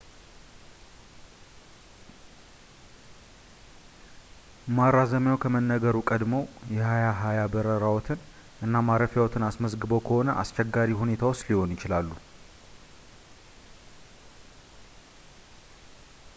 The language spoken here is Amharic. ማራዘሚያው ከመነገሩ ቀድመው የ2020 በረራዎትን እና ማረፊያዎትን አስመዝግበው ከሆነ አስቸጋሪ ሁኔታ ውስጥ ሊሆኑ ይችላሉ